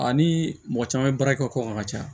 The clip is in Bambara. Ani mɔgɔ caman bɛ baara kɛ kɔ kan ka caya